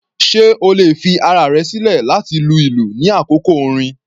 Sé o lè fi ara rẹ̀ sílẹ̀ láti lu ìlú ní àkókò orin?